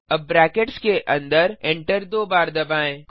अब ब्रैकेट्स के अन्दरएंटर दो बार दबाएँ